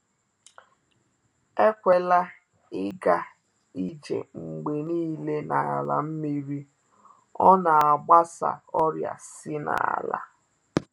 Ekwela ịga ije mgbe niile n’ala nmiri, ọ na-agbasa ọrịa si na’ala.